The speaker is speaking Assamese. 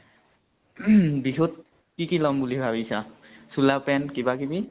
উ্হম বিহুত কি কি লম বুলি ভাবিছা? চোলা pant কিবা কিবি?